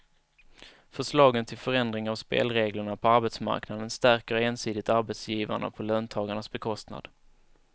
Förslagen till förändring av spelreglerna på arbetsmarknaden stärker ensidigt arbetsgivarna på löntagarnas bekostnad.